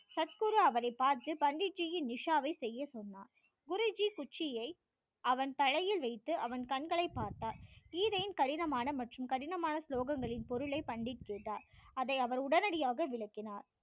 அப்போது அவரை பார்த்து பண்டிட் ஜியின் நிஷாவை செய்ய சொன்னார் குருஜி குச்சியை அவன் தலையில் வைத்து அவன் கண்களை பார்த்தார் கீதையின் கடினமான மற்றும் கடினமான ஸ்லோகங்களின் பொருளை பண்டிட் கேட்டார் அதை அவர் உடனடியாக விளக்கினார்